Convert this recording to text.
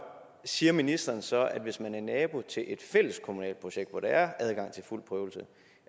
siger ministeren så at hvis man er nabo til et fælleskommunalt projekt hvor der er adgang til fuld prøvelse